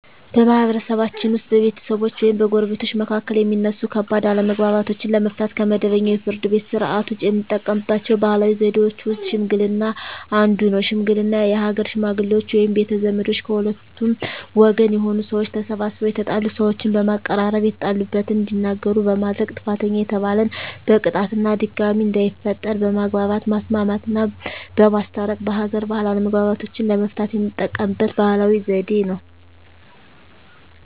በማህበረሰብችን ውስጥ በቤተሰቦች ወይም በጎረቤቶች መካከል የሚነሱ ከባድ አለመግባባቶችን ለመፍታት (ከመደበኛው የፍርድ ቤት ሥርዓት ውጪ) የምንጠቀምባቸው ባህላዊ ዘዴዎች ውስጥ ሽምግልና አንዱ ነው። ሽምግልና የሀገር ሽመግሌዎች ወይም ቤተ ዘመዶች ከሁለቱም ወገን የሆኑ ሰዎች ተሰባስበው የተጣሉ ሰዎችን በማቀራረብ የተጣሉበትን እንዲናገሩ በማድረግ ጥፋተኛ የተባለን በቅጣት እና ድጋሜ እንዳይፈጠር በማግባባት ማስማማትና በማስታረቅ በሀገር ባህል አለመግባባቶችን ለመፍታት የምንጠቀምበት ባህላዊ ዘዴ ነው።